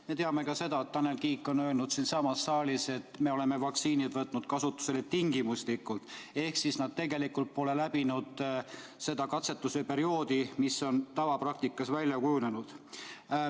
Me teame ka seda, et Tanel Kiik on öelnud siinsamas saalis, et me oleme vaktsiinid võtnud kasutusele tingimuslikult – need tegelikult pole läbinud seda katsetuse perioodi, mis on tavapraktikas välja kujunenud.